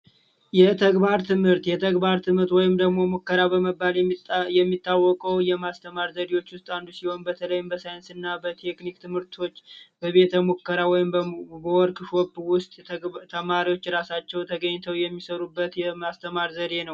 የተግባር ትምህርት የተግባር ትምህርት ወይም ደግሞ ሙከራ በመባል የሚታወቀው የማስተማር ዘዴዎች ውስጥ አንዱ ሲሆን በተለይም በሳይንስና በቴክኒክ ትምህርቶች በቤተሙከራ ወይም በወርቅ ውስጥ ተማሪዎች ራሳቸው ተገኝተው የሚሰሩበት የማስተማር ዘዴ ነው